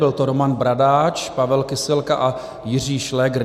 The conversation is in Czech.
Byl to Roman Bradáč, Pavel Kysilka a Jiří Šlégr.